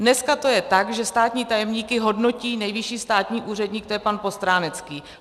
Dneska to je tak, že státní tajemníky hodnotí nejvyšší státní úředník, to je pan Postránecký.